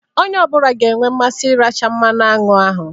Onye ọ bụla ga-enwe mmasị iracha mmanụ aṅụ ahụ